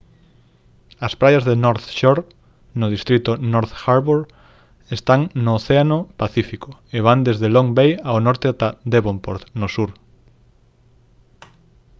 as praias de north shore no distrito north harbour están no océano pacífico e van desde long bay ao norte ata devonport no sur